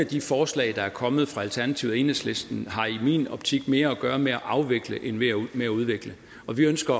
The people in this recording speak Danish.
de forslag der er kommet fra alternativet og enhedslisten i min optik mere har at gøre med at afvikle end med at udvikle og vi ønsker